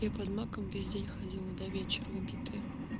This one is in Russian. я под маком весь день ходила до вечера убитая